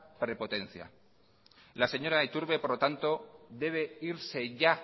prepotencia la señora iturbe por lo tanto debe irse ya